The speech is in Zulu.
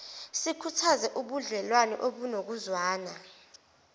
sikhuthaze ubudlewane obunokuzwana